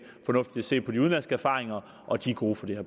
fornuftigt at se på de udenlandske erfaringer og de er gode på det